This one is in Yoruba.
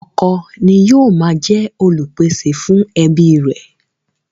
Ọkọ ni ó máa ń jẹ Olùpèsè fún ẹbí rẹ̀